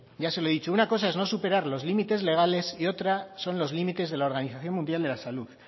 ya se lo he dicho una cosa es no superar los límites legales y otra son los límites de la organización mundial de la salud